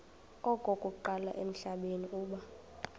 okokuqala emhlabeni uba